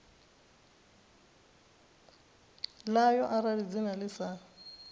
ḽayo arali dzina ḽi sa